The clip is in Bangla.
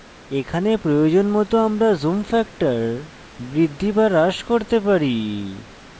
এখানে প্রয়োজন মত আমরা zoom factor বৃদ্ধি বা হ্রাস করতে পারি